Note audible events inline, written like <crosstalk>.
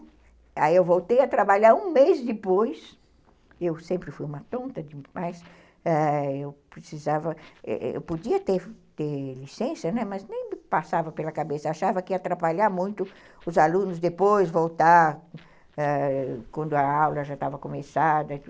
Aí eu voltei a trabalhar um mês depois, eu sempre fui uma tonta demais, ah, eu precisava, eu podia ter licença, mas nem passava pela cabeça, achava que ia atrapalhar muito os alunos depois voltar, <unintelligible> quando a aula já estava começada